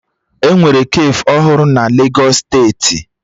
Enwere kafe ọhụrụ na Legos steeti